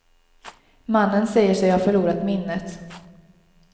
Mannen säger sig ha förlorat minnet.